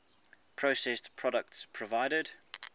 processed products provided